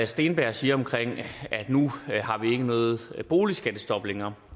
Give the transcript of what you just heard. steenberg siger om at nu har vi ikke noget boligskattestop længere